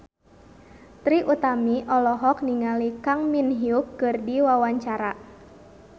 Trie Utami olohok ningali Kang Min Hyuk keur diwawancara